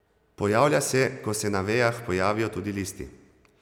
Pojavlja se, ko se na vejah pojavijo tudi listi.